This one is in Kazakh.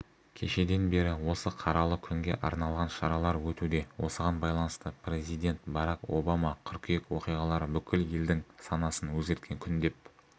кешеден бері осы қаралы күнге арналған шаралар өтуде осыған байланысты президент барак обама қыркүйек оқиғалары бүкіл елдің санасын өзгерткен күн деп